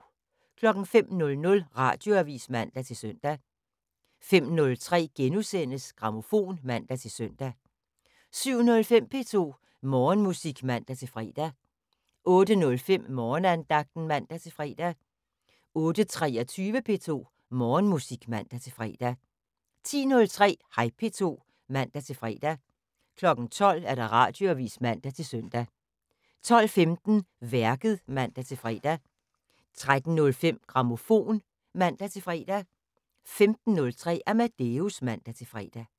05:00: Radioavis (man-søn) 05:03: Grammofon *(man-søn) 07:05: P2 Morgenmusik (man-fre) 08:05: Morgenandagten (man-fre) 08:23: P2 Morgenmusik (man-fre) 10:03: Hej P2 (man-fre) 12:00: Radioavis (man-søn) 12:15: Værket (man-fre) 13:03: Grammofon (man-fre) 15:03: Amadeus (man-fre)